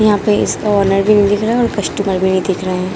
यहाँ पे इसका ओनर भी नहीं दिख रहा हैं कस्टमर भी नहीं दिख रहा हैं।